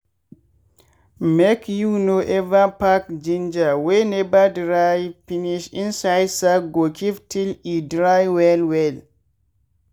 make you no ever pack ginger wey never dry finish inside sack go keep till e dry well well.